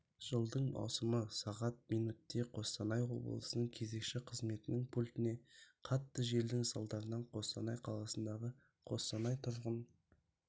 жылдың маусымы сағат минутте қостанай облысының кезекші қызметінің пультіне қатты желдің салдарынан қостанай қаласындағы қостанай тұрғын